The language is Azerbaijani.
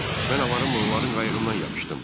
Mən avarımla onların qayığından yapışdım.